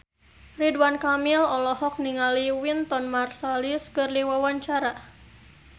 Ridwan Kamil olohok ningali Wynton Marsalis keur diwawancara